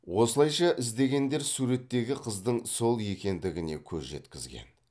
осылайша іздегендер суреттегі қыздың сол екендігіне көз жеткізген